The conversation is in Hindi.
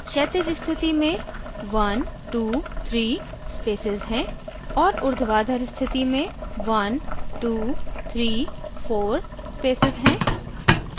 क्षैतिज स्थिति में 123 spaces हैं और ऊर्ध्वाधर स्थिति में 1234 spaces हैं